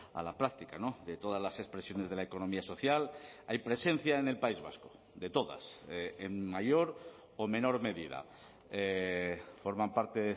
a la práctica de todas las expresiones de la economía social hay presencia en el país vasco de todas en mayor o menor medida forman parte